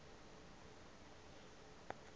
umlo omkhu lu